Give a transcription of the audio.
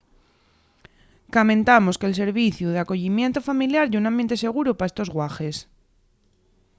camentamos que’l serviciu d’acoyimientu familiar ye un ambiente seguru pa estos guaḥes